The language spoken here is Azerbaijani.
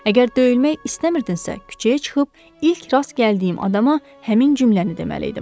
Əgər döyülmək istəmirdinsə, küçəyə çıxıb ilk rast gəldiyim adama həmin cümləni deməliydim.